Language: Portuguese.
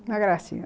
Uma gracinha.